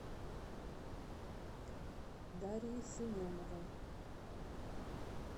дарьей семеновой